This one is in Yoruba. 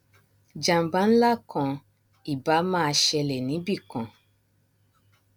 jàmbá nlá kan ì báà máa ṣẹlè níbìkan